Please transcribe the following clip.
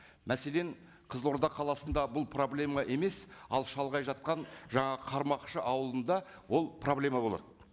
мәселен қызылорда қаласында бұл проблема емес ал шалғай жатқан жаңа қармақшы ауылында ол проблема болады